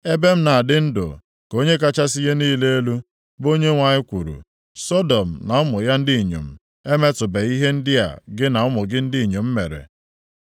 Ebe m na-adị ndụ, ka Onye kachasị ihe niile elu, bụ Onyenwe anyị kwuru, Sọdọm na ụmụ ya ndị inyom emetụbeghị ihe ndị a gị na ụmụ gị ndị inyom mere.